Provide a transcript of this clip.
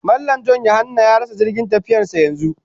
Mallam(John/Yahanna) ya rasa jirgin tafiyarsa yanzu